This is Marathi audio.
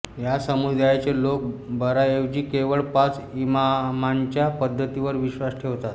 या समुदायाचे लोक बाराऐवजी केवळ पाच इमामांच्या पद्धतीवर विश्वास ठेवतात